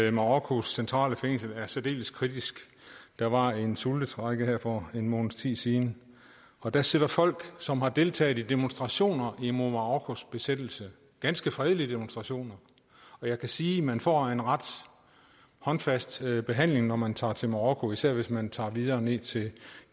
i marokkos centrale fængsel er særdeles kritiske der var en sultestrejke her for en måneds tid siden og der sidder folk som har deltaget i demonstrationer imod marokkos besættelse ganske fredelige demonstrationer og jeg kan sige at man får en ret håndfast behandling når man tager til marokko især hvis man tager videre ned til